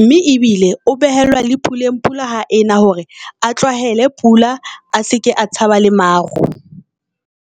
Mme ebile o behelwa le puleng, pula ha ena hore a tlwaele pula a seke a tshaba le maru.